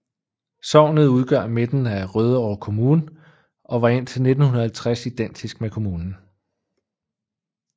Sognet udgør midten af Rødovre Kommune og var indtil 1950 identisk med kommunen